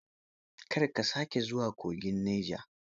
Kar ka sake zuwa kogin Neja.